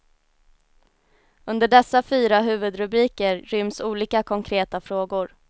Under dessa fyra huvudrubriker ryms olika konkreta frågor.